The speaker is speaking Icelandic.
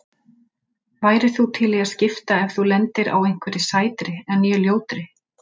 Værir þú til í að skipta ef þú lendir á einhverri sætri en ég ljótri?